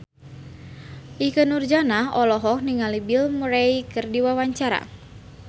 Ikke Nurjanah olohok ningali Bill Murray keur diwawancara